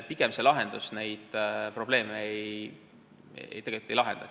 Pigem see lahendus neid probleeme tegelikult ei lahenda.